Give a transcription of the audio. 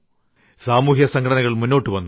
സാമൂഹ്യ സംഘടനകൾ മുന്നോട്ടു വന്നു